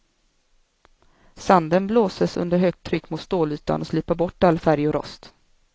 Sanden blåses under högt tryck mot stålytan och slipar bort all färg och rost.